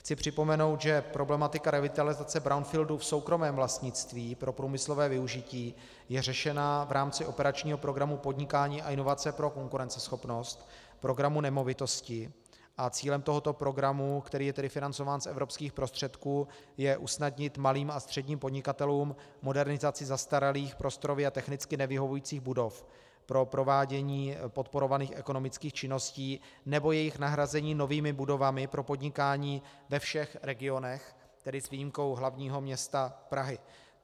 Chci připomenout, že problematika revitalizace brownfieldů v soukromém vlastnictví pro průmyslové využití je řešena v rámci operačního programu Podnikání a inovace pro konkurenceschopnost, programu Nemovitosti, a cílem tohoto programu, který je tedy financován z evropských prostředků, je usnadnit malým a středním podnikatelům modernizaci zastaralých, prostorově a technicky nevyhovujících budov pro provádění podporovaných ekonomických činností nebo jejich nahrazení novými budovami pro podnikání ve všech regionech, tedy s výjimkou hlavního města Prahy.